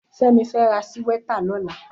Femi fè rà síwètá lòlá